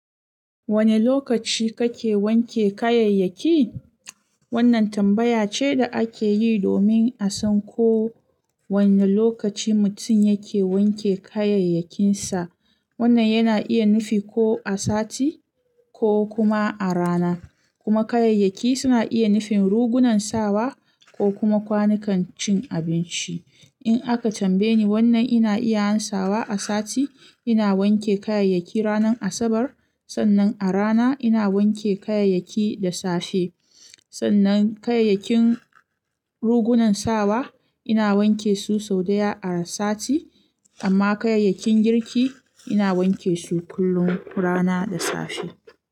Wane lokaci kake wanke kayayyaki? Wannan tambaya ce da ake yi domin a san ko wane lokaci mutum yake wanke kayayyakinsa. Wannan yana iya nufi ko a sati ko kuma a rana. Kuma kayayyaki suna iya nufin rigunan sawa ko kuma kwanukan cin abinci. In aka tambaye ni wannan ina iya ansawa a sati, ina wanke kayayyaki ranar Asabar. Sannan a rana ina wanke kayayyaki da safe. Sannan kayayyakin rigunan sawa ina wanke su sau ɗaya a sati. Amma kayayyakin girki ina wanke su kullum rana da safe.